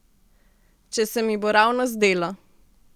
Če se mi bo ravno zdelo.